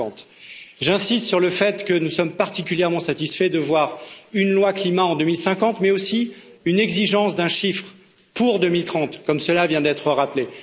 2050. J'insiste sur le fait que nous sommes particulièrement satisfaits de voir une loi climat en 2050, mais aussi une exigence chiffrée pour 2030, comme cela vient d'être rappelé.